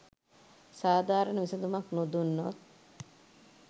සාධාරණ විසඳුමක් නොදුන්නොත්